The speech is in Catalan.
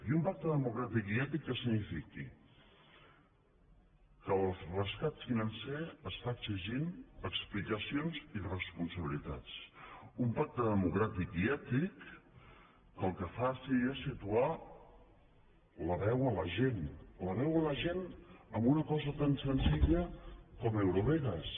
i un pacte democràtic i ètic que signifiqui que el rescat financer es fa exigint explicacions i responsabilitats un pacte democràtic i ètic que el que faci és situar la veu a la gent la veu a la gent en una cosa tan senzilla com eurovegas